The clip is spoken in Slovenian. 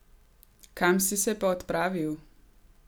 Kam si se pa odpravil?